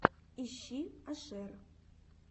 ищи ашер